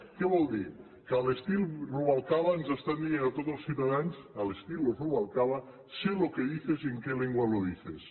què vol dir que a l’estil rubalcaba ens estan dient a tots els ciutadans al estilo rubalcaba sé lo que dices y en qué lengua lo dices